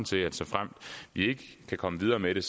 til såfremt vi ikke kan komme videre med det